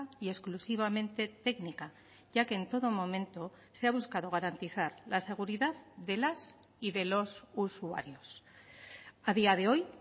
y exclusivamente técnica ya que en todo momento se ha buscado garantizar la seguridad de las y de los usuarios a día de hoy